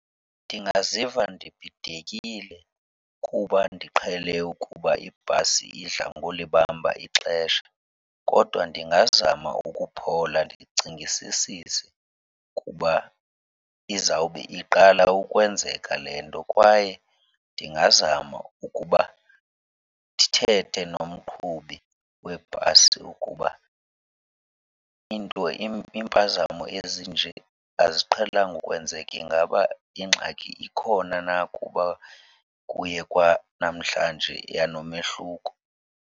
Ndingaziva nibhidekile kuba ndiqhele ukuba ibhasi idla ngolibamba ixesha kodwa ndingazama ukuphola ndicingisisise kuba izawube iqala ukwenzeka le nto. Kwaye ndingazama ukuba ndithethe nomqhubi webhasi ukuba iinto iimpazamo ezinje aziqhelanga ukwenzeka. Ingaba ingxaki ikhona na kuba kuye kwanamhlanje yanomehluko?